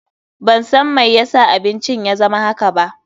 Ban san mai ya sa abincin ya zama haka ba.